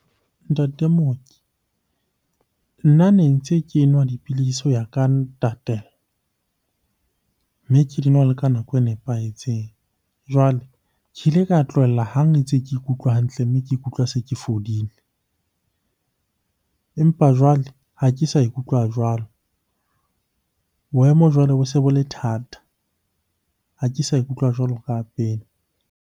Ntate mooki, nna ne ntse ke nwa dipilisi ho ya ka , mme ke di nwa le ka nako e nepahetseng. Jwale ke ile ka tlohella hang ntse ke ikutlwa hantle, mme ke ikutlwa se ke fodile. Empa jwale ha ke sa ikutlwa jwalo, boemo jwale bo se bo le thata. Ha ke sa ikutlwa jwalo ka pele.